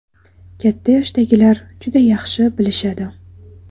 Katta yoshdagilar juda yaxshi bilishadi.